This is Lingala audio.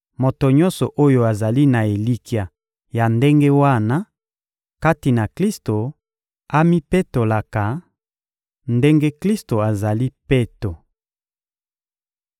Moto nyonso oyo azali na elikya ya ndenge wana kati na Klisto amipetolaka, ndenge Klisto azali peto.